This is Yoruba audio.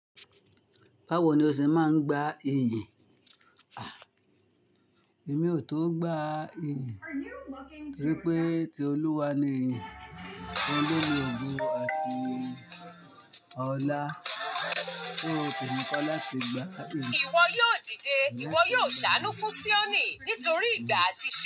Báwo ni o ṣe máa ń gba iyìn? Èmi ò tó gba ìyìn tó rí pé ti Olúwa ni ìyìn. Olórin ògo àti ọlá, so ko nípa láti gba iyì. Ìwọ yóò dìde, ìwọ yóò ṣàánú fún Sioni nítorí ìgbà àti ṣé.